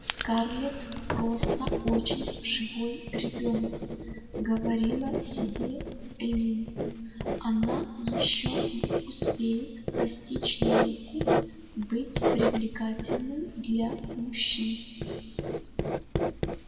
скарлетт просто очень живой ребёнок говорила себе эллин она ещё успеет постичь науку быть привлекательной для мужчин